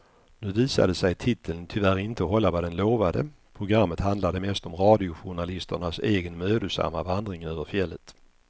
Nu visade sig titeln tyvärr inte hålla vad den lovade, programmet handlade mest om radiojournalisternas egen mödosamma vandring över fjället.